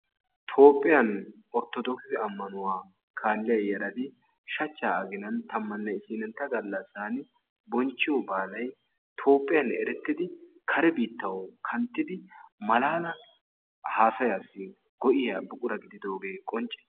Toophphiyan Orttodoogise ammanuwa kaalliya yarati shachchaa aginan tammanne isiinintta gallassaani bonchchiyo baalay Toophphiyan erettidi kare biittawu kanttidi malaala haasayaassi go"iya buqura gididoogee qoncce.